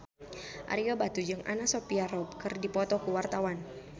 Ario Batu jeung Anna Sophia Robb keur dipoto ku wartawan